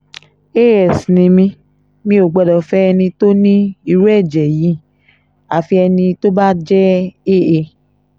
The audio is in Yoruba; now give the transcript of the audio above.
as ni mí mi ò gbọ́dọ̀ fẹ́ ẹni tó ní irú ẹ̀jẹ̀ yìí àfi ẹni tó bá jẹ́ aa